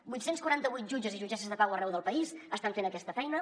vuit cents quaranta vuit jutges i jutgesses de pau arreu del país estan fent aquesta feina